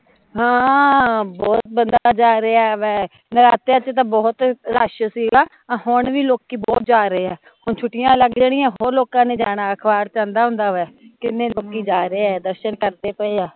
ਹਾਂ, ਬਹੁਤ ਬੰਦਾ ਜਾ ਰਿਹਾ ਵੇ ਨਰਾਤਿਆ ਚ ਤਾਂ ਬਹੁਤ ਰਸ਼ ਸੀਗਾ ਹੁਣ ਵੀ ਲੋਕੀਂ ਬਹੁਤ ਜਾ ਰਹੇ ਐ ਹੁਣ ਛੁੱਟੀਆ ਲੱਗ ਜਣੀਆ ਹੋਰ ਲੋਕਾਂ ਨੇ ਜਾਣਾ ਅਖਬਾਰ ਚ ਆਉਂਦਾ ਹੁੰਦਾ ਵਾਂ ਕਿੰਨੇ ਲੋਕੀਂ ਜਾ ਰਹੇ ਐ ਦਰਸ਼ਨ ਕਰਦੇ ਪਏ ਐ